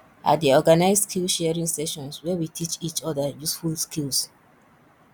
i dey organize skillsharing sessions where we teach each other useful skills